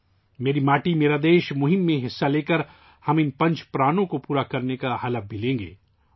'میری ماٹی میرا دیش' مہم میں حصہ لے کر، ہم ان 'پنچ پرانوں ' کو پورا کرنے کا حلف بھی لیں گے